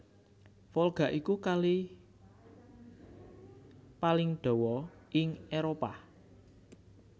Volga iku Kali paling dawa ing Éropah